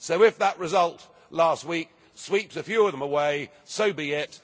So, if that result last week sweeps a few of them away, so be it.